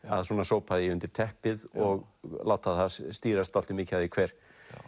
að svona sópa því undir teppið og láta það stýrast dálítið mikið af því hver